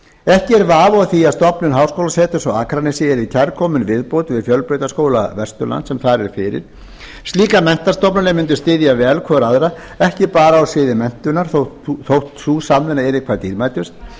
ekki er vafi á því að stofnun háskólaseturs á akranesi yrði kærkomin viðbót við fjölbrautaskóla vesturlands sem þar er fyrir slíkar menntastofnanir mundu styðja vel hvor við aðra og ekki bara á sviði menntunar þótt sú samvinna yrði hvað dýrmætust